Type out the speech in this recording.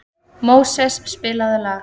Móses, spilaðu lag.